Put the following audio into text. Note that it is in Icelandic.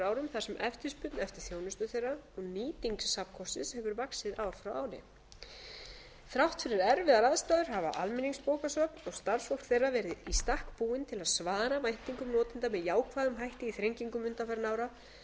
árum þar sem eftirspurn eftir þjónustu þeirra og nýting safnkostsins hefur vaxið ár frá ári þrátt fyrir erfiðar aðstæður hafa almenningsbókasöfn og starfsfólk þeirra verið í stakk búin til að svara væntingum notenda með jákvæðum hætti í þrengingum undanfarinna ára þar